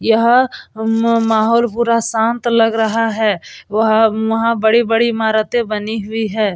यहाँ म माहौल पूरा शांत लग रहा है वह वहाँ बड़ी-बड़ी इमारते बनी हुई है ।